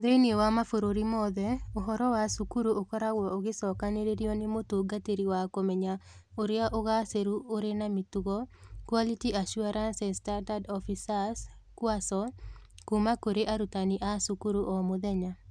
Thĩinĩ wa mabũrũri mothe, ũhoro wa cukuru ũkoragwo ũgĩcokanĩrĩrio nĩ Mũtungatĩri wa Kũmenya Ũrĩa Ũgaacĩru Ũrĩ na Mĩtugo (Quality Assurance and Standards Officers - QASO) kuuma kũrĩ arutani a cukuru o mũthenya.